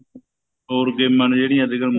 ਹੋਰ ਗੇਮਾ ਨੇ ਜਿਹੜੀਆਂ ਅੱਜਕਲ